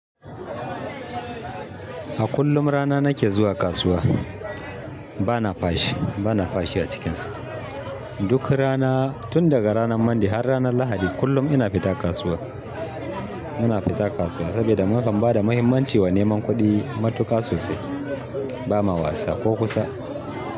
A kullum rana nake zuwa kasuwa bana fashi, bana fashi a cikin su. Duk rana tun daga ranan Mande har ranan Lahadi, kullum ina fita kasuwa. Ina fita kasuwa, saboda nakan ba da muhimmanci a neman kuɗi matuƙa sosai. Ba ma wasa ko kusa.